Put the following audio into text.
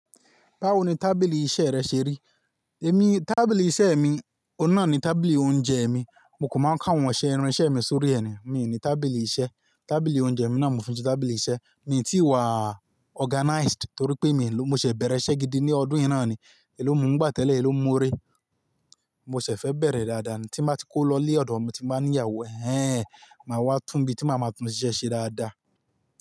Báwo ni tábìlì iṣẹ́ rẹ ṣe rí? Èmi tábìlì iṣẹ́ mi, òun náà ni tábìlì oúnjẹ mi. Mo kò mọ káwọn ohun ìṣe irinṣẹ́ mi sórí rẹ̀ ni, mi ò ní tábìlì iṣẹ́. Tábìlì oúnjẹ mi náà mo fi ṣe tábìlì iṣẹ́. Mi tí ì wá organized torí pé èmi ló, mo ṣè bẹ̀rẹ̀ iṣẹ́ gidi ní ọdún yìí náà ni. Èló mo ń gbà tẹ́lẹ̀, èló mo ń rí. Mo ṣẹ̀ fẹ́ bẹ̀rẹ̀ dáadáa ní, tí máa ti kó lọ ile ọ̀dọ̀ mi tí baa ní ìyàwó. Ẹ̀hẹn, màá wá túń bí tí màá máa tún iṣẹ́ ṣe dáadáa.